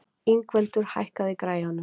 Ingveldur, hækkaðu í græjunum.